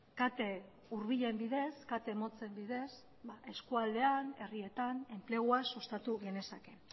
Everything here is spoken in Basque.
kate hurbilen bidez kate motzen bidez eskualdean herrietan enplegua sustatu genezake